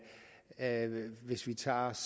af ved venstres